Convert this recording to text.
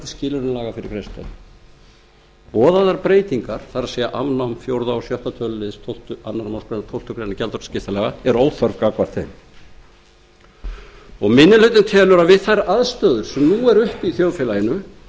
skilyrðum laga fyrir greiðslustöðvun boðaðar breytingar það er afnám fjórða og sjötta tölulið annarri málsgrein tólftu greinar gjaldskrárskiptalaga eru þar með óþarfar gagnvart þeim banka minni hlutinn telur að við þær aðstæður sem nú eru uppi